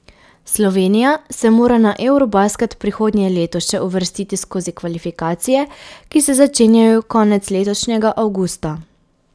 Slovenija se mora na eurobasket prihodnje leto še uvrstiti skozi kvalifikacije, ki se začenjajo konec letošnjega avgusta.